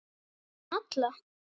Fyrir framan alla?